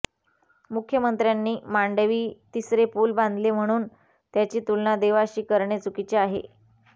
मुख्यमंत्र्यांनी मांडवी तिसरे पुल बांधले म्हणून त्यांची तुलना देवाशी करणे चुकीचे आहे